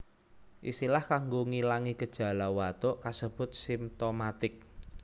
Istilah kanggo ngilangi gejala watuk kasebut simtomatik